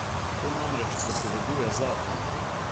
To namreč prepoveduje zakon.